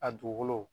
A dugukolo